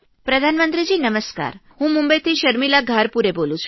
પ્રધાનમંત્રી નમસ્કાર હું મુંબઇથી શર્મિલા ઘારપુરે બોલું છું